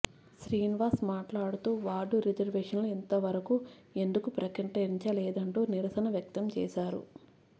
శ్రీనివాస్ మాట్లాడుతూ వార్డు రిజర్వేషన్లు ఇంత వరకు ఎందుకు ప్రకటించలేదంటూ నిరసన వ్యక్తం చేశారు